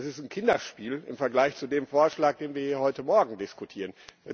Das ist ein Kinderspiel im Vergleich zu dem Vorschlag, den wir heute Morgen diskutieren.